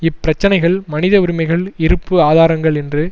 இப் பிரச்சினைகள் மனித உரிமைகள் இருப்பு ஆதாரங்கள் என்று